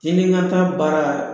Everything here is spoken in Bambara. Tintinkanta baara